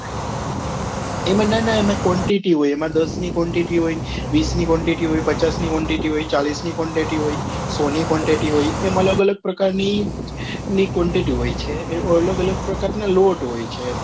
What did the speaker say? એમાં ના ના એમાં quantity હોય એમાં દસ ની quantity હોય વીસ ની quantity હોય પચાસ ની quantity હોય ચાલીશ ની quantity હોય સો quantity એમ અલગ અલગ પ્રકાર ની ની quantity હોય છે એ અલગ અલગ પ્રકાર ના લોટ હોય છે એમ